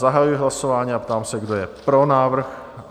Zahajuji hlasování a ptám se, kdo je pro návrh?